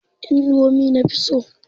Indomi na fi so.